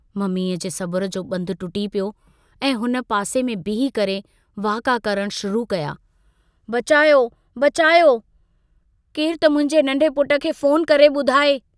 मम्मीअ जे सबुर जो बंधु टुटी पियो ऐं हुन पासे में बिही करे वाका करण शुरु कया बचायो बचायो... केरु त मुंहिंजे नंढे पुट खे फोन करे बुधाए।